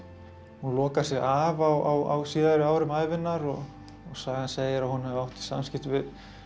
hún lokar sig af á síðari árum ævinnar og sagan segir að hún hafi átt í samskiptum við